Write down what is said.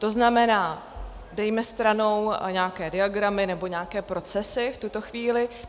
To znamená, dejme stranou nějaké diagramy nebo nějaké procesy v tuto chvíli.